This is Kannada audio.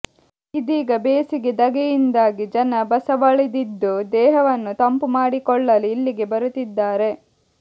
ಇದೀಗ ಬೇಸಿಗೆ ಧಗೆಯಿಂದಾಗಿ ಜನ ಬಸವಳಿದಿದ್ದು ದೇಹವನ್ನು ತಂಪು ಮಾಡಿಕೊಳ್ಳಲು ಇಲ್ಲಿಗೆ ಬರುತ್ತಿದ್ದಾರೆ